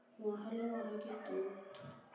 ngwaga le ngwaga ke tona